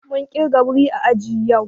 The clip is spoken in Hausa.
Mun kirga wuri ã àji yau.